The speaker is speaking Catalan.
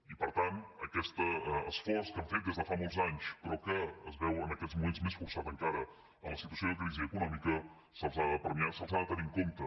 i per tant aquest esforç que han fet des de fa molts anys però que es veu en aquests moments més forçat encara en la situació de crisi econòmica se’ls ha de premiar se’ls ha de tenir en compte